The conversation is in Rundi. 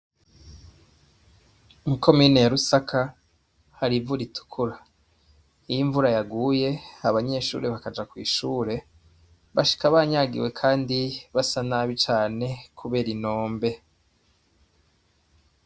Mw'ikomine ya Rusaka hari ivu ritukura iyo imvura yaguye abanyeshure bakaja kw'ishure bashika banyagiwe kandi basa nabi cane kubera inombe